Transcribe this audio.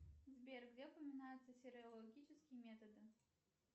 сбер где упоминаются серологические методы